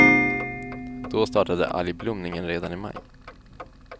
Då startade algblomningen redan i maj.